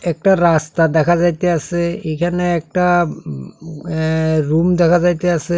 একটা রাস্তা দেখা যাইতাসে এখানে একটা অ্যা-রুম দেখা যাইতাসে।